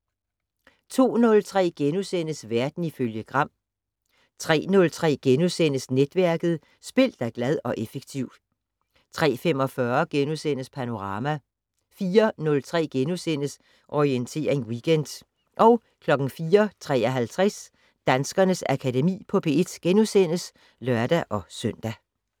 02:03: Verden ifølge Gram * 03:03: Netværket: Spil dig glad og effektiv * 03:45: Panorama * 04:03: Orientering Weekend * 04:53: Danskernes Akademi på P1 *(lør-søn)